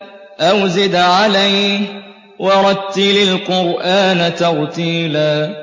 أَوْ زِدْ عَلَيْهِ وَرَتِّلِ الْقُرْآنَ تَرْتِيلًا